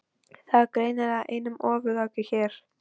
Það er greinilega einum ofaukið hér.